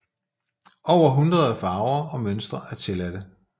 Over hundrede farver og mønstre er tilladte